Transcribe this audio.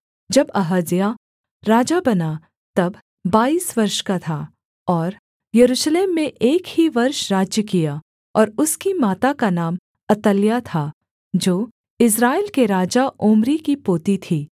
जब अहज्याह राजा बना तब बाईस वर्ष का था और यरूशलेम में एक ही वर्ष राज्य किया और उसकी माता का नाम अतल्याह था जो इस्राएल के राजा ओम्री की पोती थी